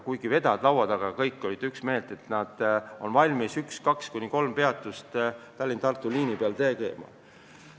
Kuigi meie laua taga olid kõik vedajad üksmeelsed, et nad on valmis kuni kolm peatust Tallinna–Tartu liinil tegema.